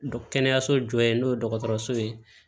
Kɛnɛyaso jɔ yen n'o ye dɔgɔtɔrɔso ye